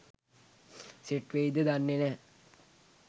set වෙයිද දන්නේ නෑ